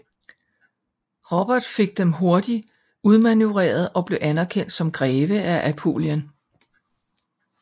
Robert fik dem hurtigt udmanøvreret og blev anerkendt som greve af Apulien